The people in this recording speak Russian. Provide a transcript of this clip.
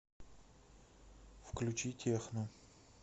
включи техно